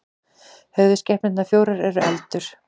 höfuðskepnurnar fjórar eru eldur